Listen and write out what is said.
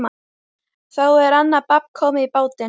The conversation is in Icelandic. Þá er annað babb komið í bátinn.